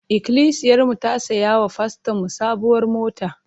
Ikilisiyarmu ta saya wa fastonmu sabuwar mota.